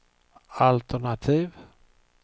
altenativ